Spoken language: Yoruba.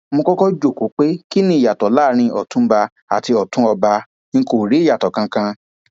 mo kọkọ jókòó pé kí ni ìyàtọ láàrin ọtúnba àti ọtún ọba ń kó rí ìyàtọ kankan